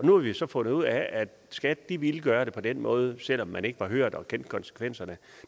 nu har vi så fundet ud af at skat ville gøre det på den måde selv om man ikke kendte konsekvenserne